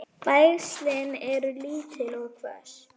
Það versnar ár frá ári.